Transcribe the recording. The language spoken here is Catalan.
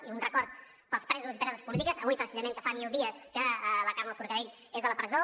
i un record pels presos i preses polítiques avui precisament que fa mil dies que la carme forcadell és a la presó